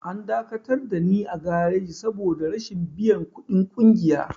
An dakatar dani a gareji saboda rashin biyan ƙudin ƙungiya.